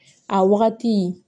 A wagati